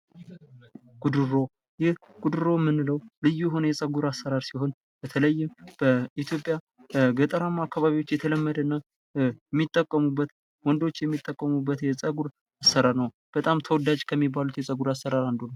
ጉድሮ ይህ ልዩ የሆነ የፀጉር አሰራር ሲሆን በተለይም በኢትዮጵያ በገጠር አካባቢዎች የተለመደና ወንዶች የሚጠቀሙበት የፀጉር አሰራር ነው በጣም ተወዳጅ ከሚባሉ አሰራሮች አንዱ ነው።